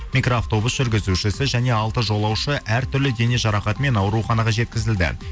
микроавтобус жүргізушісі және алты жолаушы әртүрлі дене жарақатымен ауруханаға жеткізілді